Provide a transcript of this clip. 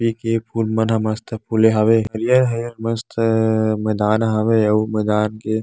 ए के फूल मन ह मस्त फुले हावे हरियर हरियर मस्त मैदान हावे अउ मैदान के--